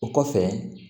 O kɔfɛ